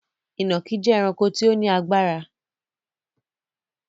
Ìnàkí jẹ ẹranko tí ó ní agbára